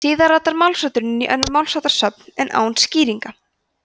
síðar ratar málshátturinn inn í önnur málsháttasöfn en án skýringa